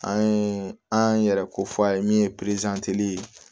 An ye an yɛrɛ ko fɔ a ye min ye